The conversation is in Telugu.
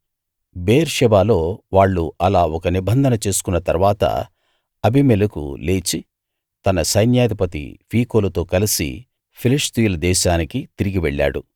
బెయేర్షెబాలో వాళ్ళు అలా ఒక నిబంధన చేసుకున్న తరువాత అబీమెలెకు లేచి తన సైన్యాధిపతి ఫీకోలుతో కలసి ఫిలిష్తీయుల దేశానికి తిరిగి వెళ్ళాడు